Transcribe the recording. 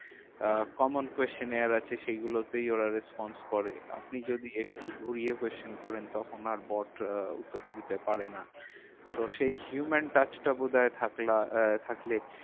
আহ common question নেওয়ার আছে সেগুলোতেই ওরা response করে। আপনি যদি একটু ঘুরিয়ে question করেন তখন আর bot উত্তর দিতে পারে না তো সেই human touch টা বোধহয় আহ থাকলে